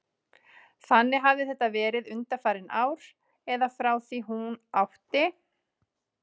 Þannig hafði þetta verið undanfarin ár, eða frá því hún átti